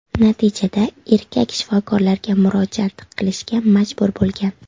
Natijada erkak shifokorlarga murojaat qilishga majbur bo‘lgan.